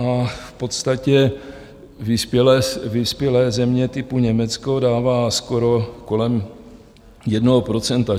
A v podstatě vyspělé země typu Německo dává skoro kolem jednoho procenta.